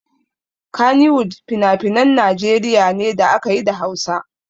Kannywood finafinan Najeriya ne da ake yi da Hausa.